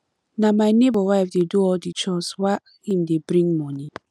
na my nebor wife dey do all di chores while im dey bring moni